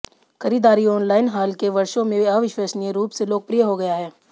खरीदारी ऑनलाइन हाल के वर्षों में अविश्वसनीय रूप से लोकप्रिय हो गया है